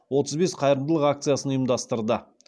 отыз бес қайырымдылық акциясын ұйымдастырды